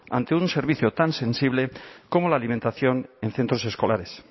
ante un servicio tan sensible como la alimentación en centros escolares